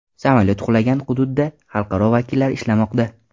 Samolyot qulagan hududda xalqaro vakillar ishlamoqda.